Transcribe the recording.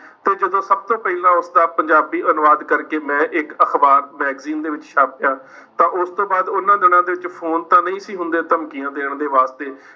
ਤੇ ਜਦੋਂ ਸਭ ਤੋਂ ਪਹਿਲਾਂ ਉਸਦਾ ਪੰਜਾਬੀ ਅਨੁਵਾਦ ਕਰਕੇ ਮੈਂ ਇੱਕ ਅਖ਼ਬਾਰ ਮੈਗਜ਼ੀਨ ਦੇ ਵਿੱਚ ਛਾਪਿਆ ਤਾਂ ਉਸ ਤੋਂ ਬਾਅਦ ਉਹਨਾਂ ਦਿਨਾਂ ਦੇ ਵਿੱਚ ਫ਼ੋਨ ਤਾਂ ਨਹੀਂ ਸੀ ਹੁੰਦੇ ਧਮਕੀਆਂ ਦੇਣ ਦੇ ਵਾਸਤੇ,